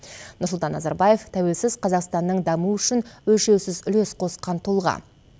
нұрсұлтан назарбаев тәуелсіз қазақстанның дамуы үшін өлшеусіз үлес қосқан тұлға